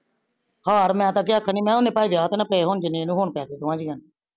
ਹਾਰ ਮੈ ਤਾ ਅੱਗੇ ਆਖਣ ਡੀ ਆ ਨੀ ਮੈ ਓਨੇ ਭਾਵੇਂ ਵਿਹਾਅ ਤੇ ਨਾ ਪਏ ਹੋੰਜ ਨੇ ਹੁਣ ਪੈ ਗਾਏ ਨੇ ਦੋਨਾ ਜੀਆ ਨੂੰ